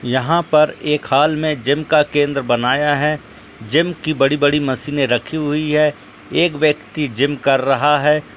यहां पर एक हाल में जिम का केंद्र बनाया है। जिम की बड़ी-बड़ी मशीने रखी हुई है। एक व्यक्ति जिम कर रहा है।